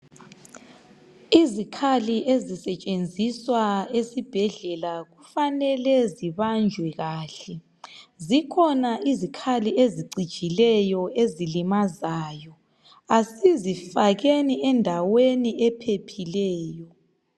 Izikhali ezisetshenziswa esibhedlela kufanele zibanjwe kahle. Zikhona izikhalli ezicijileyo, ezilimazayo. Kasizifakeni endaweni ephephileyo.